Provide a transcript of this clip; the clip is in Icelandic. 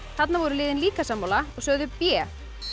þarna voru liðin líka sammála og sögðu b